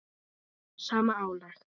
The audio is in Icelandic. sama álag?